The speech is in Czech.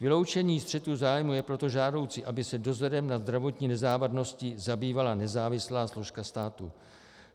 Vyloučení střetu zájmů je proto žádoucí, aby se dozorem nad zdravotní nezávadností zabývala nezávislá složka státu.